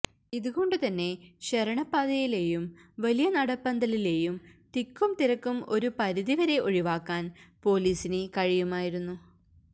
ഇതുകൊണ്ടു തന്നെ ശരണപാതയിലെയും വലിയ നടപ്പന്തലിലെയും തിക്കുംതിരക്കും ഒരു പരിധി വരെ ഒഴിവാക്കാന് പോലീസിന് കഴിയുമായിരുന്നു